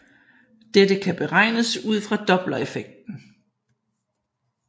Dette kan beregnes ud fra dopplereffekten